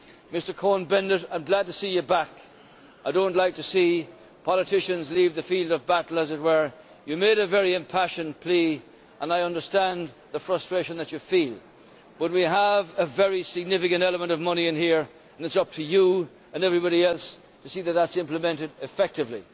Mr Cohn Bendit, I am glad to see you back, I do not like to see politicians leave the field of battle, as it were. You made a very impassioned plea and I understand the frustration that you feel, but we have a very significant element of money in here and it is up to you and everybody else to see that it is implemented effectively.